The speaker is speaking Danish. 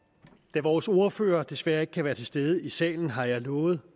da vores ordfører desværre ikke kan være til stede i salen har jeg lovet